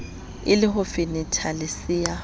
e le ho fenethalesea ha